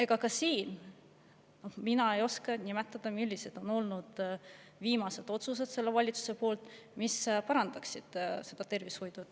Ega ka siin ma ei oska nimetada, millised on olnud selle valitsuse viimased otsused, mis parandaksid tervishoidu.